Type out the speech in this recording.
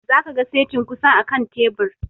Za ka ga setin ƙusan a kan tebur